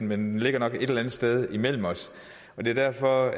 men den ligger nok et eller andet sted imellem os det er derfor